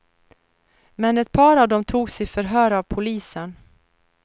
Men ett par av dem togs i förhör av polisen.